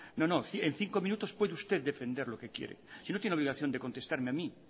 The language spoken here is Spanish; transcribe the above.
no en cinco minutos puede usted defender lo que quiere si no tiene obligación de contestarme a mí